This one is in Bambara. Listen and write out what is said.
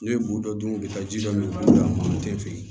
Ne ye bu dɔ dun ka ji dɔ min ka d'a ma n te fili